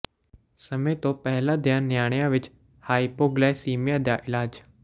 ਸਮੇਂ ਤੋਂ ਪਹਿਲਾਂ ਦੀਆਂ ਨਿਆਣੀਆਂ ਵਿਚ ਹਾਈਪੋਗਲਾਈਸੀਮੀਆ ਦਾ ਇਲਾਜ